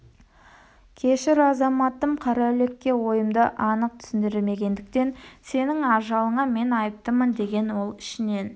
кешір азаматым қараүлекке ойымды анық түсіндірмегендіктен сенің ажалыңа мен айыптымын деген ол ішінен